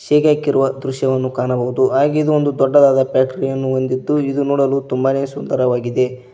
ಸೀಗೆ ಹಾಕಿರುವ ದೃಶ್ಯವನ್ನು ಕಾಣಬಹುದು ಹಾಗೆ ಇದೊಂದು ದೊಡ್ಡದಾದ ಫ್ಯಾಕ್ಟರಿಯನ್ನು ಹೊಂದಿದ್ದು ಇದು ನೋಡಲು ತುಂಬಾನೆ ಸುಂದರವಾಗಿದೆ.